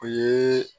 O ye